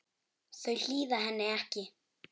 Þau hlýða henni ekki.